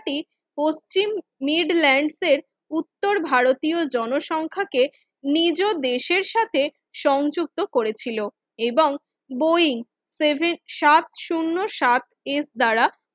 টি পশ্চিম মিড ল্যান্ডের উত্তর ভারতীয় জনসংখ্যা কে নিজ দেশের সাথে সংযুক্ত করেছিল এবং বই সেভেন উত্তর ভারতীয় জনসংখ্যা কে নিজ দেশের সাথে সংযুক্ত শুন্য সাত এর দ্বারা